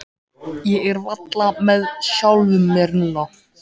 Ég er varla með sjálfum mér núna.